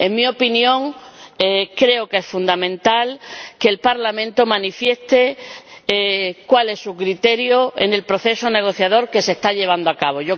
En mi opinión, creo que es fundamental que el Parlamento manifieste cuál es su criterio en el proceso negociador que se está llevando a cabo.